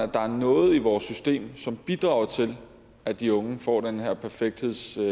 der er noget i vores system som bidrager til at de unge får den her perfekthedstrang